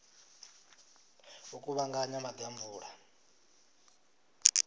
u kuvhanganya maḓi a mvula